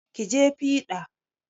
Ki je fiɗa!